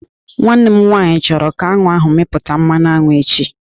Nwanne m nwaanyị chọrọ ka aṅụ ahụ mịpụta mmanụ aṅụ echi